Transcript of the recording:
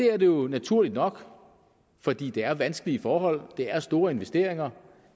er det jo naturligt nok fordi det er vanskelige forhold det er store investeringer